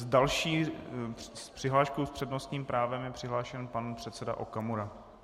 S další přihláškou s přednostním právem je přihlášen pan předseda Okamura.